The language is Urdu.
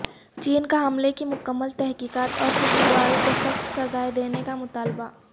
چین کا حملے کی مکمل تحقیقات اور قصورواروں کو سخت سزائیں دینے کا مطالبہ